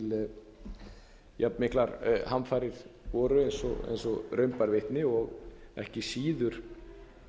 þegar jafn miklar hamfarir voru eins og raun bar vitni og ekki síður